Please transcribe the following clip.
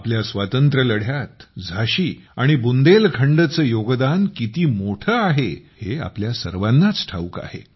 आपल्या स्वातंत्र्यलढ्यात झाशी आणि बुंदेलखंडचे योगदान आपल्या सर्वांनाच ठाऊक आहे